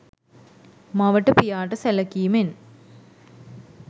මවට පියාට සැලකීමෙන්